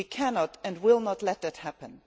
We cannot and will not let that happen.